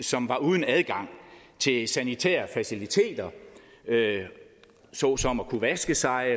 som var uden adgang til sanitære faciliteter såsom at kunne vaske sig